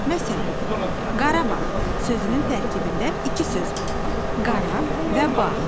Məsələn, Qarabağ sözünün tərkibində iki söz var: qara və bağ.